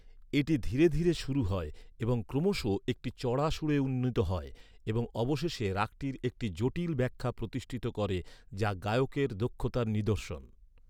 এটি ধীরে ধীরে শুরু হয় এবং ক্রমশ একটি চড়া সুরে উন্নীত হয়, এবং অবশেষে রাগটির একটি জটিল ব্যাখ্যা প্রতিষ্ঠিত করে, যা গায়কের দক্ষতার নিদর্শন।